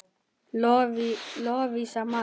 Lovísa María.